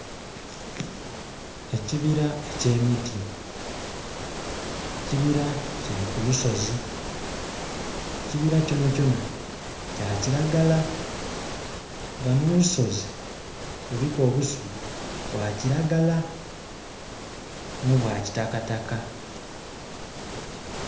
Ekibira eky'emiti, ekibira kili ku lusozi, ekibira kyona kyona kya kiragala nga no lusozi luliku obusubi bwa kiragala n'obwa kitakataka.